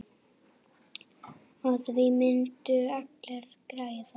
Á því myndu allir græða.